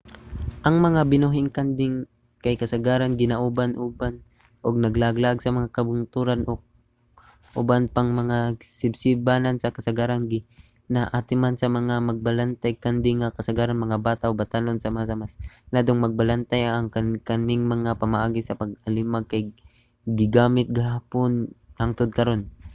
ang mga binuhing kanding kay kasagaran ginauban-uban ug naglaag-laag sa mga kabungturan o uban pang mga sibsibanan kasagaran ginaatiman sa mga magbalantayg kanding nga kasagaran mga bata o batan-on sama sa mas iladong magbalantay. ang kaning mga pamaagi sa pag-alimag kay gigamit gihapon hangtod karun